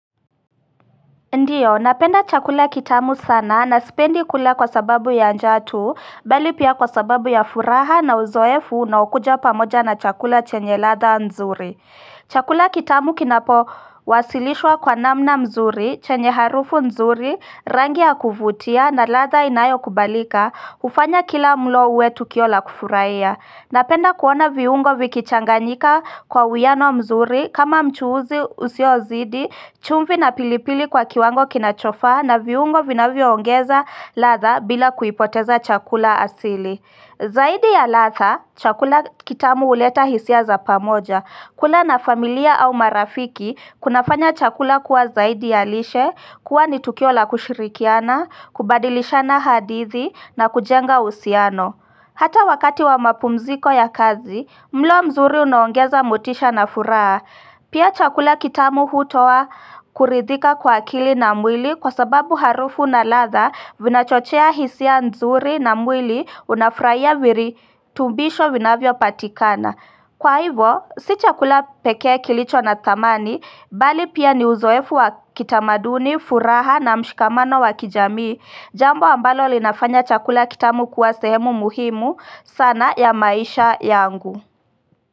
Ndio, napenda chakula kitamu sana na sipendi kula kwa sababu ya njaa tu, bali pia kwa sababu ya furaha na uzoefu na kukuja pamoja na chakula chenye ladha nzuri. Chakula kitamu kinapo wasilishwa kwa namna mzuri, chenye harufu nzuri, rangi ya kuvutia na ladha inayo kubalika, hufanya kila mlo uwe tukiola kufurahia. Napenda kuona viungo vikichanganyika kwa uwiano mzuri kama mchuuzi usiozidi, chumvi na pilipili kwa kiwango kinachofaa na viungo vina viongeza ladha bila kuipoteza chakula asili. Zaidi ya ladha, chakula kitamu uleta hisia za pamoja. Kula na familia au marafiki, kunafanya chakula kuwa zaidi ya lishe, kuwa ni tukio la kushirikiana, kubadilisha na hadithi na kujenga uhusiano. Hata wakati wa mapumziko ya kazi, mlo mzuri unaongeza motsha na furaha. Pia chakula kitamu hutoa kuridhika kwa akili na mwili kwa sababu harufu na ladha vina chochea hisia nzuri na mwili unafurahia viritubisho vinavyo patikana. Kwa hivo, si chakula pekee kilicho na tamani, bali pia ni uzoefu wa kitamaduni, furaha na mshikamano wa kijamii, jambo ambalo linafanya chakula kitamu kuwa sehemu muhimu sana ya maisha yangu.